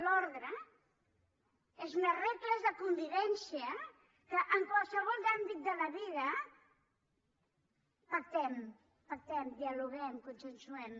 l’ordre són unes regles de convivència que en qualsevol àmbit de la vida pactem dialoguem consensuem